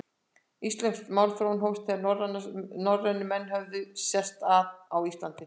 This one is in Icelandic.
Íslensk málþróun hófst, þegar norrænir menn höfðu sest að á Íslandi.